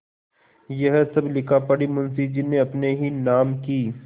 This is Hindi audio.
यह सब लिखापढ़ी मुंशीजी ने अपने ही नाम की क्